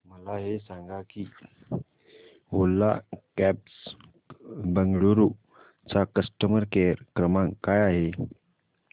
मला हे सांग की ओला कॅब्स बंगळुरू चा कस्टमर केअर क्रमांक काय आहे